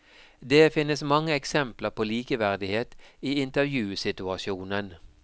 Det finnes mange eksempler på likeverdighet i intervjusituasjonen.